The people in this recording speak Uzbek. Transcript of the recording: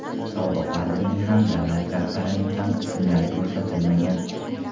Sobiq vazirning ham, Davlat rahbarining ham ismlari ko‘rsatilmagan.